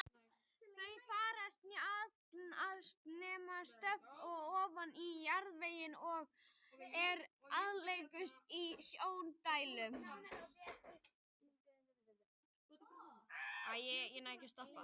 Þau fara sjaldnast nema stutt ofan í jarðveginn og eru algengust í snjódældum.